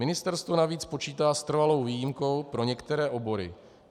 Ministerstvo navíc počítá s trvalou výjimkou pro některé obory.